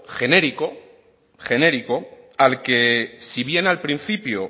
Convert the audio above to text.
genérico genérico al que si bien al principio